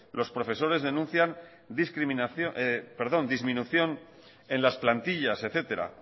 los profesores denuncian disminución en las plantillas etcétera